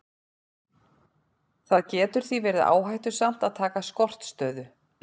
Það getur því verið áhættusamt að taka skortstöðu.